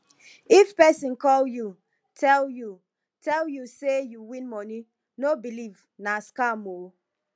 if pesin call you tell you tell you say you win money no believe nah scam oo